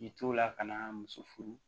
I to la ka na muso furu